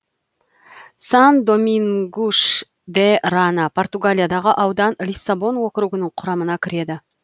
сан домингуш де рана португалиядағы аудан лиссабон округінің құрамына кіреді